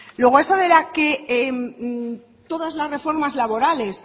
luego eso de que todas las reformas laborales